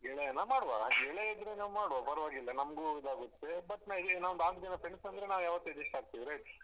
ಗೆಳೆಯನಾ ಮಾಡುವ ಗೆಳೆಯ ಇದ್ರೆ ನಾವು ಮಾಡುವ ಪರ್ವಾಗಿಲ್ಲ ನಮ್ಗು ಇದಾಗುತ್ತೆ ಮತ್ ನಾವು ಇಲ್ಲಿ ನಾಕು ಜನ friends ಅಂದ್ರೆ ನಾವು ಯಾವತ್ತೂ adjust ಆಗ್ತೀವಿ right .